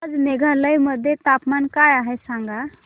आज मेघालय मध्ये तापमान काय आहे सांगा